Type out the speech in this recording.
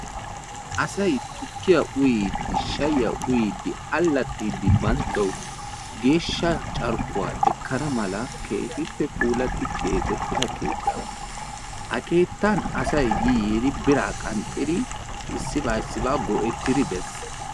Asayi tukkiya uyiiddi shayyiya uyiiddi allaxxiiddi banttawu geeshsha carkkuwa ekkana mala keehippe puulatti keexettida keettaa. Ha keettan asayi yi yiidi biraa qanxxidi issibaa issibaa go"ettidi bes.